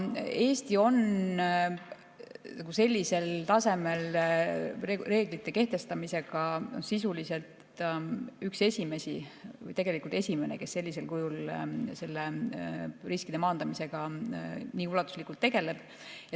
Eesti on sellisel tasemel reeglite kehtestamisega sisuliselt üks esimesi, tegelikult esimene, kes sellisel kujul riskide maandamisega nii ulatuslikult tegeleb.